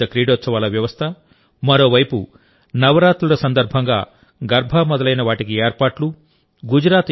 ఇంత పెద్ద క్రీడోత్సవాల వ్యవస్థ మరోవైపు నవరాత్రుల సందర్భంగా గర్బా మొదలైన వాటికి ఏర్పాట్లు